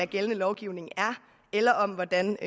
gældende lovgivning er eller om hvordan